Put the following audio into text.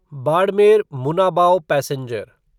Barmer Munabao passenger